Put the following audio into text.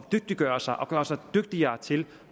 dygtiggøre sig og gøre sig dygtigere til